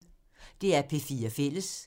DR P4 Fælles